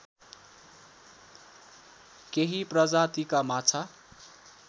केही प्रजातिका माछा